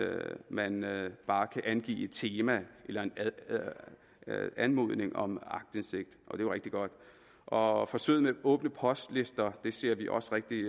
man bare kan angive et tema ved anmodning om aktindsigt og jo rigtig godt og forsøget med åbne postlister ser vi også rigtig